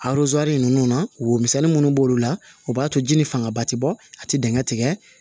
ninnu na womisɛnni minnu b'olu la o b'a to ji ni fangaba ti bɔ a ti digɛn tigɛ